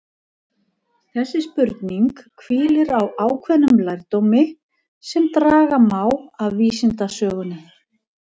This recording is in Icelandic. Þessi spurning hvílir á ákveðnum lærdómi sem draga má af vísindasögunni.